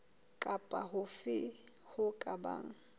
kapa hofe ho ka bang